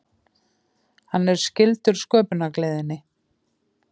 Hann er skyldur sköpunargleðinni.